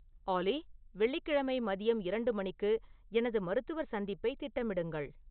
ஆல்லி வெள்ளிக்கிழமை மதியம் இரண்டு மணிக்கு எனது மருத்துவர் சந்திப்பை திட்டமிடுங்கள்.